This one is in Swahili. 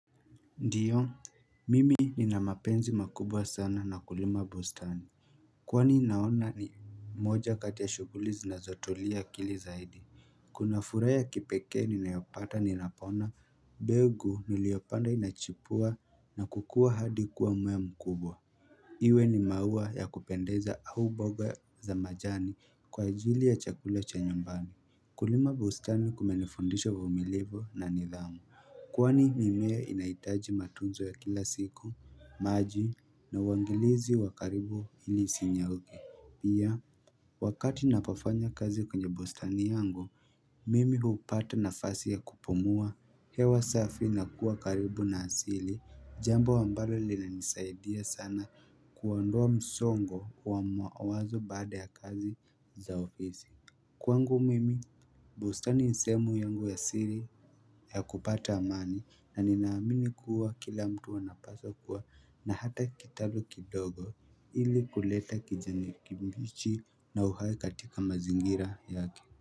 Ndiyo, mimi nina mapenzi makubwa sana na kulima bustani Kwani naona ni moja katia shuguli zinazo tumia akili zaidi Kuna furaa ya kipeke nina yopata ninapona mbegu niliopanda inachipua na kukua hadi kuwa mmea mkubwa Iwe ni maua ya kupendeza au mboga za majani kwa ajili ya chakula cha nyumbani Kulima bustani kumenifundisha uvumilivu na nidhamu Kwani mimea inaitaji matunzo ya kila siku, maji, na uangalizi wakaribu ili sinyauke. Pia, wakati napofanya kazi kwenye bustani yangu, mimi hupata na fasi ya kupumua hewa safi na kuwa karibu na asili, jambo ambalo lili nisaidia sana kuondoa msongo wa mawazo baada ya kazi za ofisi. Kwangu mimi bustani nisemu yangu ya siri ya kupata amani na ninaamini kuwa kila mtu anapaswa kuwa na hata kitalu kidogo ili kuleta kijani kibichi na uhai katika mazingira yake.